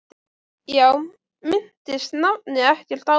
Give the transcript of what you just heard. Já, minntist nafni ekkert á það?